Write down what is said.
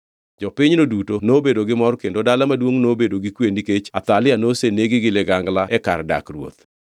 Jopinyno duto nobedo gi mor kendo dala maduongʼ nobedo gi kwe nikech Athalia nosenegi gi ligangla e kar dak ruoth.